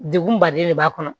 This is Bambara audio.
Degun baden de b'a kɔnɔ